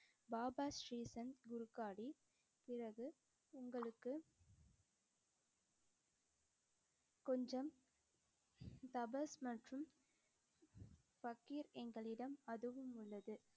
பாபா ஸ்ரீ சந்த் குர்க்காடி பிறகு உங்களுக்குக் கொஞ்சம் தபஸ் மற்றும் ஃபக்கீர் எங்களிடம் அதுவும் உள்ளது.